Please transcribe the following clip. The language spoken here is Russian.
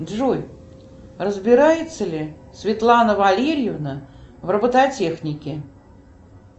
джой разбирается ли светлана валерьевна в робототехнике